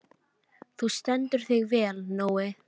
Þú stendur þig vel, Nói!